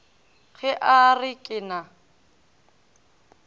ge a re ke na